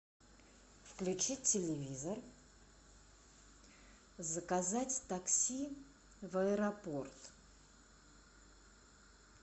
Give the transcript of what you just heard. включить телевизор заказать такси в аэропорт